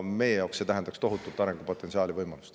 Meie jaoks see tähendaks tohutult arengupotentsiaali ja -võimalust.